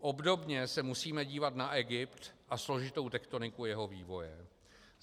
Obdobně se musíme dívat na Egypt a složitou tektoniku jeho vývoje.